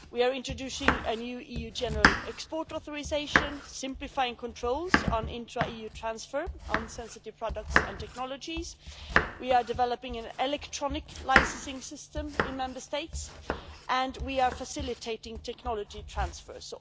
We are introducing a new EU general export authorisation, simplifying controls on intra EU transfer on sensitive products and technologies, we are developing an electronic licensing system in Member States and we are facilitating technology transfers.